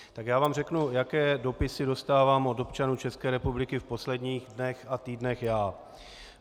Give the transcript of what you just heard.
Tak já vám řeknu, jaké dopisy dostávám od občanů České republiky v posledních dnech a týdnech já.